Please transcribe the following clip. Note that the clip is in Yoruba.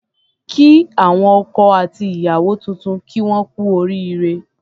Kí àwọn ọkọ àti ìyàwó tuntun kí wón kú oríre